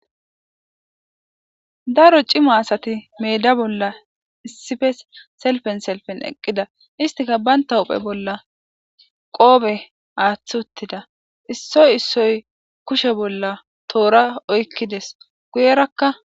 Daro cima asati meeda bollan issippe selippen selippen eqqida istikka bantta huphphe bolla kooppe aaththi uuttida issoy issoy kushe bolla tora oyqides guyerakka